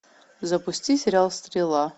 запусти сериал стрела